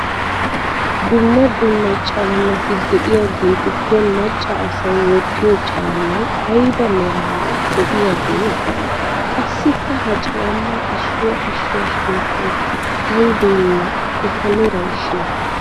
Dumma dumma caammati de'iyageetuppe macca asay wottiyo caammay ayba meraara de'iyagee? Qassikka ha caammaa issuwa issuwa sunttay aybeenne eta meray shin?